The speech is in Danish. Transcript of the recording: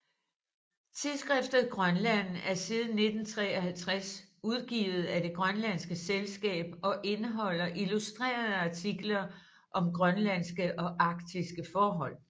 Tidsskriftet Grønland er siden 1953 udgivet af Det grønlandske Selskab og indeholder illustrerede artikler om grønlandske og arktiske forhold